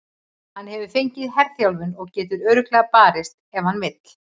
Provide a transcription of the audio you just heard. Hann hefur fengið herþjálfun og getur örugglega barist ef hann vill.